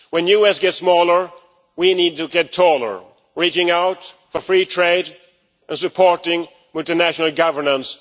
When the US gets smaller, we need to get taller, reaching out for free trade and supporting with the national governance.